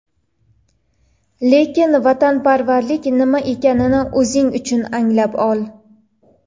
Lekin vatanparvarlik nima ekanini o‘zing uchun anglab ol.